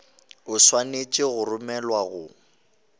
o swanetše go romelwa go